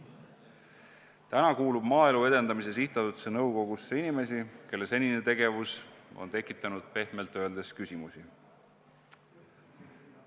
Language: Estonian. Täna kuulub Maaelu Edendamise Sihtasutuse nõukogusse inimesi, kelle senine tegevus on tekitanud pehmelt öeldes küsimusi.